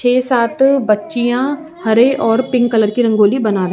छ: सात बच्चियाॅं हरे और पिकं कलर की रंगोली बना रही हैं।